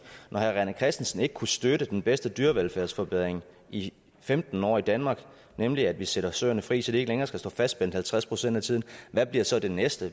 når herre rené christensen ikke kunne støtte den bedste dyrevelfærdsforbedring i femten år i danmark nemlig at vi sætter søerne fri så de ikke længere skal stå fastspændt halvtreds procent af tiden hvad bliver så det næste